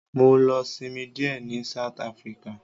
Mọ lọ sinmi díẹ̀ ní South Africa.